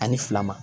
Ani fila ma